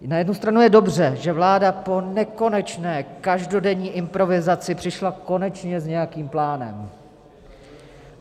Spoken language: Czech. Na jednu stranu je dobře, že vláda po nekonečné každodenní improvizaci přišla konečně s nějakým plánem.